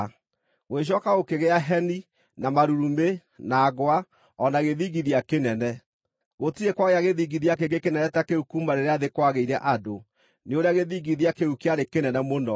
Gũgĩcooka gũkĩgĩa heni, na marurumĩ, na ngwa o na gĩthingithia kĩnene. Gũtirĩ kwagĩa gĩthingithia kĩngĩ kĩnene ta kĩu kuuma rĩrĩa thĩ kwagĩire andũ, nĩ ũrĩa gĩthingithia kĩu kĩarĩ kĩnene mũno.